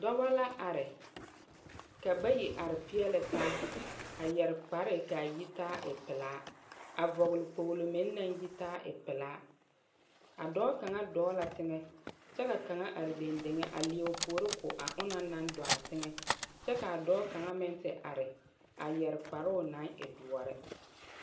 Dͻbͻ la are. ka bayi are peԑle taa. A yԑre kpare ka a yitaa a e pelaa. a vͻgele kpogilo meŋ naŋ yitaa a e pelaa. a dͻͻ kaŋa dͻͻ la teŋԑ kyԑ ka kaŋa are dendeŋe a leԑ o puoi ko a onaŋ naŋ dͻͻ a teŋԑ, kyԑ kaa dͻͻ kaŋa meŋ te are a yԑre kparoo naŋ e dõͻre.